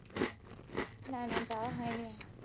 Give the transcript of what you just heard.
না না, যাওয়া হয়নি।